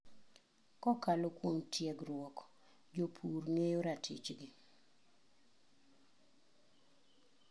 Kokalo kuom tiegruok, jopur ngeyo ratich gi.